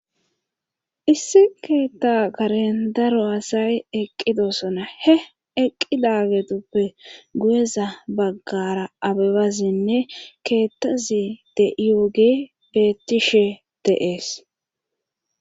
issi keetta karen daro asay eqqidosona he eqqi laagetuppe guyeza baggara abebazinne keettazi de7iyooge bettishe deees